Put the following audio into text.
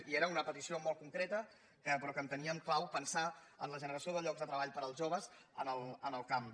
i era una petició molt concreta però que enteníem clau pensar en la generació de llocs de treball per als joves al camp